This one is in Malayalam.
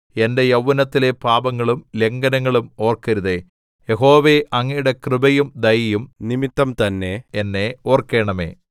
എന്റെ യൗവ്വനത്തിലെ പാപങ്ങളും ലംഘനങ്ങളും ഓർക്കരുതേ യഹോവേ അങ്ങയുടെ കൃപയും ദയയും നിമിത്തംതന്നെ എന്നെ ഓർക്കണമേ